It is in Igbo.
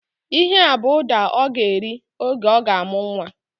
Ihea bụ ụda ọ ga-eri oge ọ ga-amụ nwa